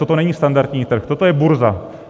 Toto není standardní trh, toto je burza.